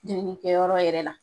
Denko kɛ yɔrɔ yɛrɛ la.